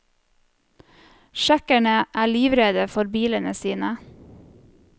Tsjekkerne er livredde for bilene sine.